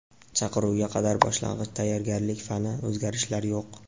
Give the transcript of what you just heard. Chaqiruvga qadar boshlang‘ich tayyorgarlik fani: o‘zgarishlar yo‘q.